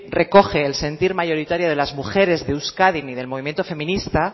recoge el sentir mayoritario de las mujeres de euskadi ni del movimiento feminista